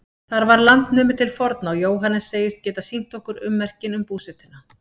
Þar var land numið til forna og Jóhannes segist geta sýnt okkur ummerkin um búsetuna.